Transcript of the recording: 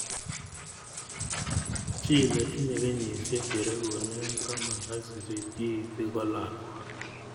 Chi netinye kenyisyek che regune taman ak sisit keiti ko lakwa